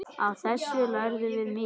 Af þessu lærðum við mikið.